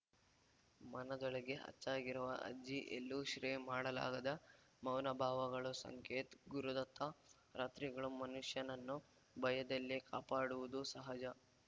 ಮನದೊಳಗೆ ಅಚ್ಚಾಗಿರುವ ಅಜ್ಜಿ ಎಲ್ಲೂ ಶ್ರೇಯ್ ಮಾಡಲಾಗದ ಮೌನ ಭಾವಗಳು ಸಂಕೇತ್‌ ಗುರುದತ್ತ ರಾತ್ರಿಗಳು ಮನುಷ್ಯನನ್ನೂ ಭಯದಲ್ಲಿ ಕಾಪಾಡುವುದು ಸಹಜ